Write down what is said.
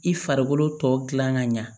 I farikolo tɔ gilan ka ɲɛ